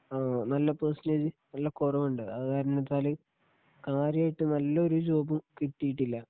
ആ നല്ല പെർസന്റേജ് നല്ല കുറവുണ്ട് അതുകാരണത്താല് കാര്യായിട്ട് നല്ലൊരു ജോബ് കിട്ടീട്ടില്ല.